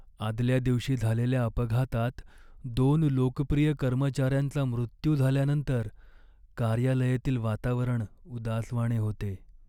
आदल्या दिवशी झालेल्या अपघातात दोन लोकप्रिय कर्मचाऱ्यांचा मृत्यू झाल्यानंतर कार्यालयातील वातावरण उदासवाणे होते.